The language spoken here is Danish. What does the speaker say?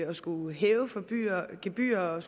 at skulle hæve gebyrer og